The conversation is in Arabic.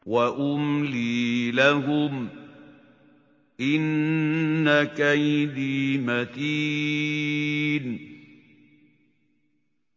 وَأُمْلِي لَهُمْ ۚ إِنَّ كَيْدِي مَتِينٌ